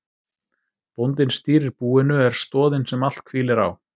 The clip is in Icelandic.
Bóndinn stýrir búinu, er stoðin sem allt hvílir á.